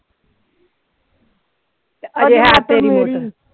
ਆ